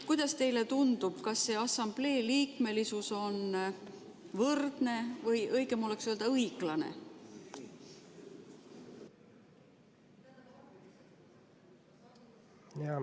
Kuidas teile tundub, kas see assamblee liikmesus on võrdne või, õigem oleks öelda, õiglane?